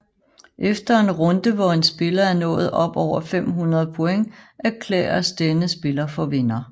Efter en runde hvor en spiller er nået op over 500 point erklæres denne spiller for vinder